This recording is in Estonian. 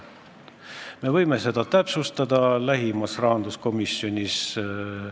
Me võime seda lähimal rahanduskomisjoni istungil täpsustada.